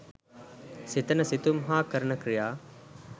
සිතන සිතුම් හා කරන ක්‍රියා